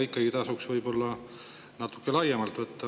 Ikkagi tasuks võib-olla natuke laiemalt võtta.